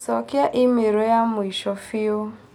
Cokia i-mīrū ya mũico biu